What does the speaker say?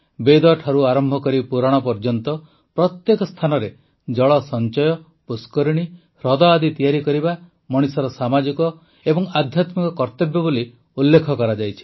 ବେଦଠାରୁ ଆରମ୍ଭ କରି ପୁରାଣ ଯାଏଁ ପ୍ରତ୍ୟେକ ସ୍ଥାନରେ ଜଳ ସଂଚୟ ପୁଷ୍କରିଣୀ ହ୍ରଦ ଆଦି ତିଆରି କରିବା ମଣିଷର ସାମାଜିକ ଓ ଆଧ୍ୟାତ୍ମିକ କର୍ତ୍ତବ୍ୟ ବୋଲି ଉଲ୍ଲେଖ କରାଯାଇଛି